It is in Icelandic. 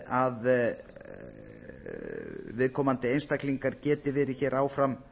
að viðkomandi einstaklingar geti verið hér áfram